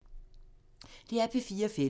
DR P4 Fælles